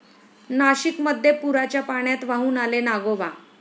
नाशिकमध्ये पुराच्या पाण्यात वाहून आले नागोबा!